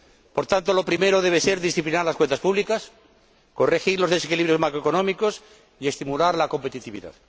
Por tanto, lo primero debe ser disciplinar las cuentas públicas, corregir los desequilibrios macroeconómicos y estimular la competitividad.